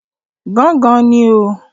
Gángan ni o.